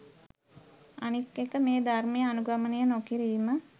අනික් එක මේ ධර්මය අනුගමනය නොකිරීම